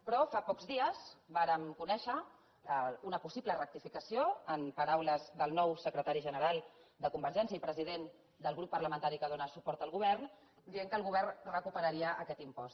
però fa pocs dies vàrem conèixer una possible rectificació en paraules del nou secretari general de convergència i president del grup parlamentari que dóna suport al govern que deia que el govern recuperaria aquest impost